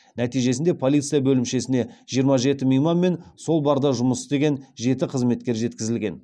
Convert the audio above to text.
нәтижесінде полиция бөлімшесіне жиырма жеті мейман мен сол барда жұмыс істеген жеті қызметкер жеткізілген